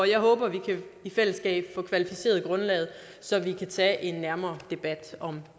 jeg håber vi i fællesskab kan få kvalificeret grundlaget så vi kan tage en nærmere debat om